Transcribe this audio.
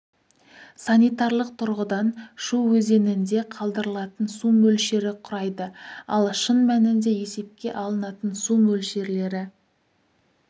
санитарлық тұрғыдан шу өзенінде қалдырылатын су мөлшері құрайды ал шын мәнінде есепке алынатын су мөлшерлері